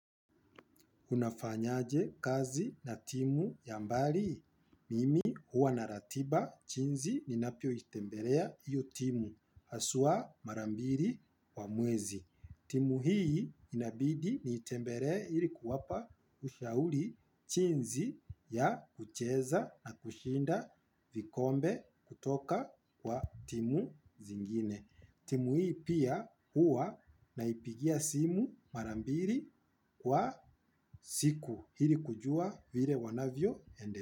Unafanyaje kazi na timu ya mbali. Mimi huwa na ratiba chinzi ninapioitembelea iyo timu. Aswaa mara mbiri wa mwezi. Timu hii inabidi niitembelee ili kuwapa ushauli chinzi ya kucheza na kushinda vikombe kutoka kwa timu zingine. Timu hii pia huwa naipigia simu mara mbiri kwa siku. Hili kujua vile wanavyoendeme.